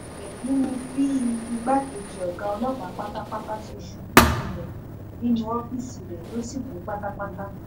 èyí ni bí igbákejì ọ̀gá ọlọ́pàá pátápátá ṣe ṣubú lulẹ̀ nínú ọ́fíìsì rẹ̀ tó sì kú pátápátá